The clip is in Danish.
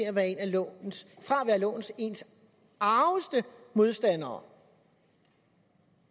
at være en af lovens argeste modstandere